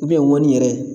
ŋɔni yɛrɛ